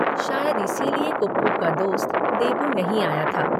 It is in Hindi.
शायद इसीलिए कुप्पू का दोस्त देबू नहीं आया था।